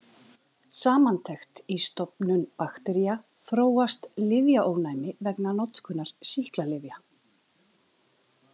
Samantekt Í stofnum baktería þróast lyfjaónæmi vegna notkunar sýklalyfja.